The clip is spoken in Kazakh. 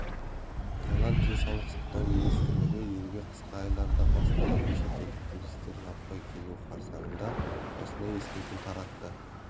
тайланд денсаулық сақтау министрлігі елге қысқы айларда басталатын шетелдік туристер жаппай келуі қарсаңында осындай ескерту таратты